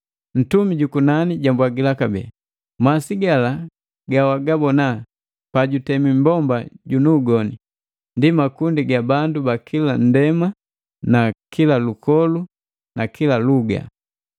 Ntumi ju kunani jambwagila kabee, “Masi gala gawagabona pajutemi mmbomba junu ugoni, ndi makundi ga bandu ba kila nndema, lukolu na luga.